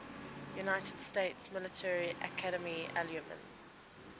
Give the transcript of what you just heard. united states military academy alumni